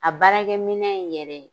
A baarakɛminɛn in yɛrɛ